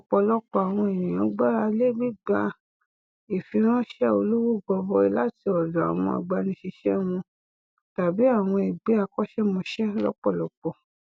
ọpọlọpọ àwọn ènìyàn gbáralé gbígbà ìfiránṣẹ olówó gọbọi láti ọdọ àwọn agbanisíṣẹ wọn tàbí àwọn ẹgbẹ akọṣẹmọṣẹ lọpọlọpọ